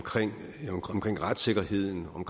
retssikkerheden om